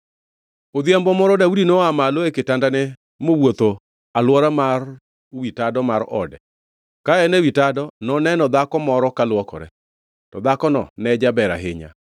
Odhiambo moro Daudi noa malo e kitandane mowuotho alwora mar wi tado mar ode ka en ewi tado noneno dhako moro kaluokore. To dhakono ne jaber ahinya,